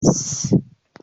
s